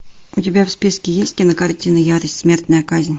у тебя в списке есть кинокартина ярость смертная казнь